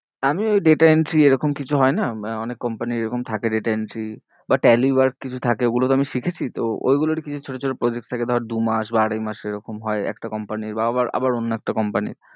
আমি ওই data entry এরকম কিছু হয়ে না, অনেক company এরকম থাকে data entry র বা tally work কিছু থাকে, ওগুলোতো আমি শিখেছি তো ওইগুলো আর কি ছোট ছোট project থাকে ধর দু মাস বা আড়াই মাস এরকম হয়ে একটা company বা আবার, আবার অন্য একটা company